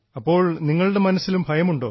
അപ്പോൾ നിങ്ങളുടെ മനസ്സിലും ഭയമുണ്ടോ